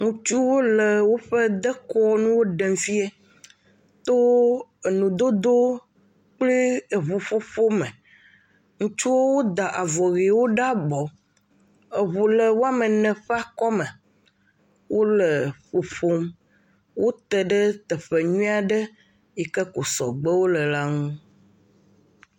Ŋutsuwo le woƒe dekɔnuwo ɖem fie to enudodowo kple eŋuƒoƒo me, ŋutsuwo woda avɔ ʋewo ɖe abɔ, eŋu le woame ene ƒe akɔme, wole ƒoƒom, wote ɖe teƒe nyui aɖe yike ko sɔgbewo le la ŋu.